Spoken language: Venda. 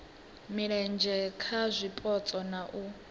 mulenzhe kha zwipotso na u